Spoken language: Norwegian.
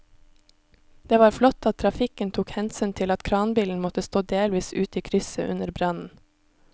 Det var flott at trafikken tok hensyn til at kranbilen måtte stå delvis ute i krysset under brannen.